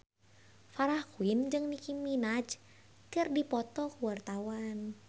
Farah Quinn jeung Nicky Minaj keur dipoto ku wartawan